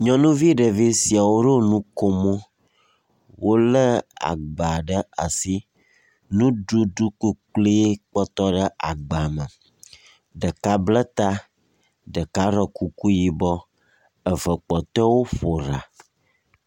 Nyɔnuvi ɖevi siawo ɖo nukomo, wolé agba ɖe asi. Nuɖuɖu kuklui kpɔtɔ ɖe agba me. Ɖeka bla ta, ɖeka ɖɔ kuku yibɔ, eve kpɔtɔewo ƒo ɖa.